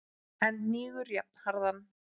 en hnígur jafnharðan.